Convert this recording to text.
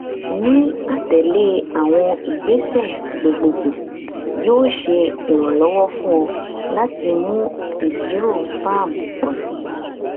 ni atẹle awọn igbese gbogbogbo yoo ṣe iranlọwọ fun ọ lati mu iṣiro sperm pọ si